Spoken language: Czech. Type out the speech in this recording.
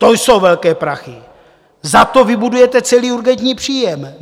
To jsou velké prachy, za to vybudujete celý urgentní příjem.